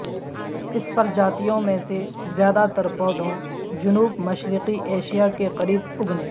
اس پرجاتیوں میں سے زیادہ تر پودوں جنوب مشرقی ایشیا کے قریب اگنے